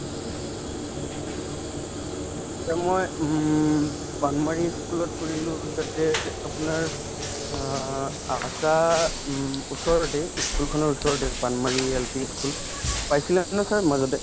এ মই উম ই school ত কৰিলো তাতে যে আপোনাৰ অ আশা উম ওচৰতে ই school খনৰ ওচৰতে LP ই school পাইছিলা ন sir মাজতে